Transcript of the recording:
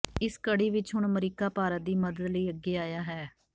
ਇਸ ਕੜੀ ਵਿਚ ਹੁਣ ਅਮਰੀਕਾ ਭਾਰਤ ਦੀ ਮਦਦ ਲਈ ਅੱਗੇ ਆਇਆ ਹੈ